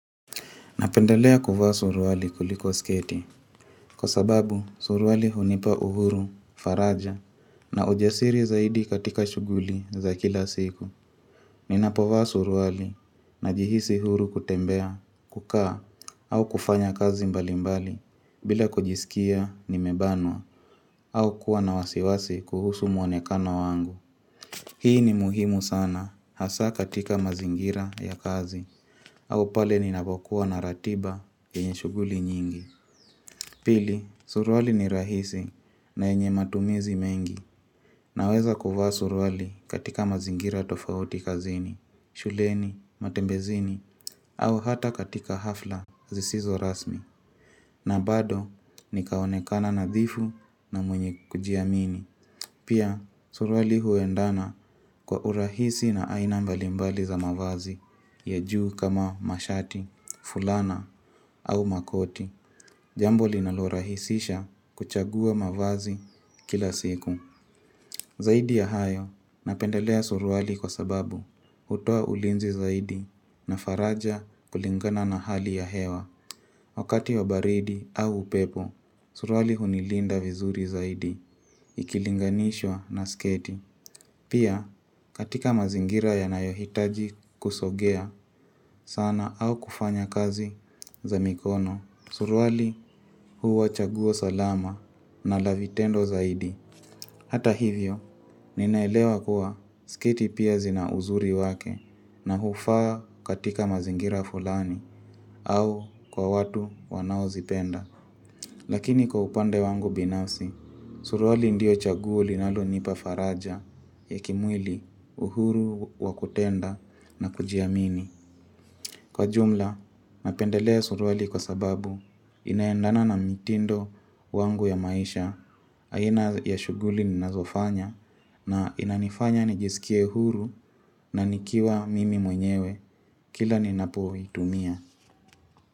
Napenda lea kufa suruali kuliko skete. Kwa sababu suruali hunipa uhuru, faraja na ujasiri zaidi katika shuguli za kila siku. Ninapova suruali na jihisi huru kutembea, kukaa au kufanya kazi mbali mbali bila kujisikia ni mebanwa au kuwa na wasiwasi kuhusu mwonekano wangu. Hii ni muhimu sana hasa katika mazingira ya kazi au pale ni nabokuwa na ratiba yenye shuguli nyingi Pili, suruali ni rahisi na yenye matumizi mengi Naweza kuwa suruali katika mazingira tofauti kazini shuleni, matembezini, au hata katika hafla zisizo rasmi na bado, nikaonekana nadhifu na mwenye kujiamini Pia, suruali huendana kwa urahisi na ainambali mbali za mawazi ya juu kama mashati, fulana au makoti Jambo linalorahisisha kuchagua mavazi kila siku Zaidi ya hayo napendelea suruali kwa sababu hutua ulinzi zaidi na faraja kulingana na hali ya hewa Wakati wa baridi au upepo Suruali hunilinda vizuri zaidi Ikilinganishwa na sketi Pia katika mazingira ya nayohitaji kusogea sana au kufanya kazi za mikono Surwali huwa chaguo salama na lavitendo zaidi Hata hivyo, ninaelewa kuwa skiti pia zina uzuri wake na hufaa katika mazingira fulani au kwa watu wanao zipenda Lakini kwa upande wangu binafsi, suruali ndio chaguo linalo nipa faraja Yekimwili uhuru wakutenda na kujiamini Kwa jumla, napendelea suruali kwa sababu inaendana na mitindo wangu ya maisha, aina ya shughuli ninazofanya na inanifanya nijisikie huru na nikiwa mimi mwenyewe kila ninapuwa hitumia.